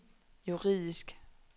juridisk